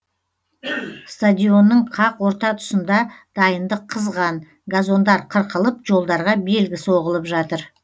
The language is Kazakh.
стадионның қақ орта тұсында дайындық қызған газондар қырқылып жолдарға белгі соғылып жатыр